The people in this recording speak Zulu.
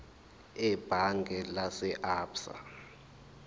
ebhange lase absa